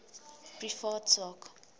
privaat sak